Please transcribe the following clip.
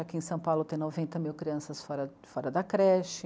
Aqui em São Paulo tem noventa mil crianças fora, fora da creche.